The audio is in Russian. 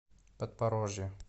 подпорожье